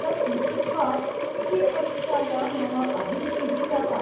तत् लिखित्वा सी.ए परीक्षायां मम अभिरुचिः जाता।